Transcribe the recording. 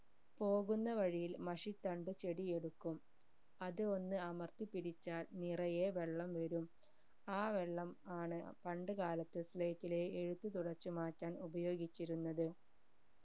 പോകുന്ന വഴിയിൽ മഷിത്തണ്ട് ചെടി എടുക്കും അത് ഒന്ന് അമർത്തി പിടിച്ചാൽ നിറയെ വെള്ളം വരും ആ വെള്ളം ആണ് പണ്ട് കാലത്തു slate ലെ എഴുത്ത് തുടച്ചു മാറ്റാൻ ഉപയോഗിച്ചിരുന്നത്